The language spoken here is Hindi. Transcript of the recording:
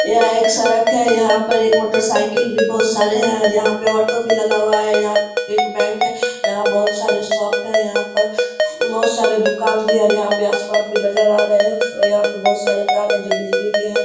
यहाँ एक सड़क है यहाँ पे एक मोटरसाइकिल भी बहुत सारे है यहाँ पे ऑटो भी लगा हुआ है एक बैंक है | यहाँ बहुत सारे शॉप है यहाँ पर यहां पे बहुत सारे दुकान भी है और यहां पे आसमान भी नजर भी आ रहे है और यहाँ पे तार है जो बिजली के है।